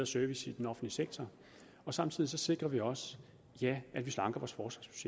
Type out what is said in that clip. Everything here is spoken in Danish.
service i den offentlige sektor og samtidig sikrer vi også ja at vi slanker vores